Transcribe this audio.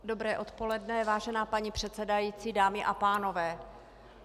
Dobré odpoledne, vážená paní předsedající, dámy a pánové.